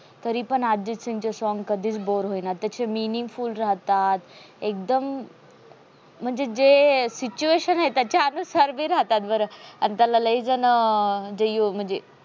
तरी पण अर्जित सिंगचे song कधीच bore होईना त्याचे meaningful राहतात. एकदम म्हणजे जे situation आहे. आणि त्याच्याना सारखी राहतात. बरं झन त्याला लय झण म्हणजे यू म्हणजे